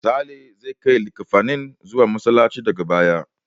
Sale zai kai likkafanin zuwa Masallaci daga baya.